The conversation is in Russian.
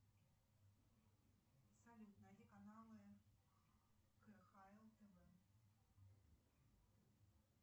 салют найди каналы кхл тв